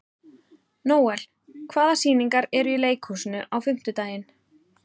Nóel, hvaða sýningar eru í leikhúsinu á fimmtudaginn?